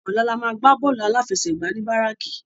Òlà lámà gbá bòlú áláfèsègbá ni báráki